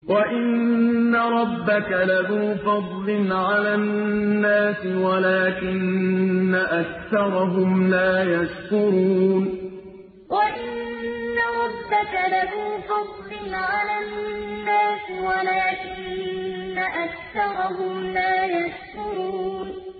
وَإِنَّ رَبَّكَ لَذُو فَضْلٍ عَلَى النَّاسِ وَلَٰكِنَّ أَكْثَرَهُمْ لَا يَشْكُرُونَ وَإِنَّ رَبَّكَ لَذُو فَضْلٍ عَلَى النَّاسِ وَلَٰكِنَّ أَكْثَرَهُمْ لَا يَشْكُرُونَ